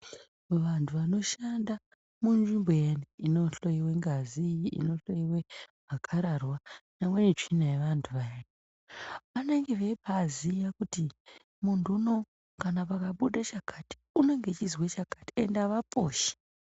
Vantu vanoshanda munzvimbo iyani inohloiwa ngazi, inohloiwa makhararwa, nyange netsvina yeantu vayani, vanenge vaibaa ziya kuti muntu uno kana pakabuda chakati unenge achizwa chakati ende avaposhi.